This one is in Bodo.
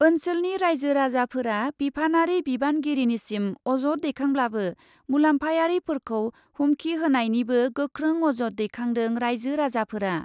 ओन्सोलनि राइजो राजाफोरा बिफानारि बिबानगिरिनिसिम अजद दैखांब्लाबो मुलाम्फायारिफोरखौ हुमखि होनायनिबो गोख्रों अजद दैखांदों राइजो राजाफोरा।